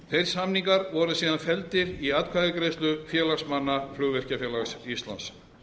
þeir samningar voru síðan felldir í atkvæðagreiðslu félagsmanna flugvirkjafélags íslands